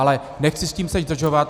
Ale nechci s tím teď zdržovat.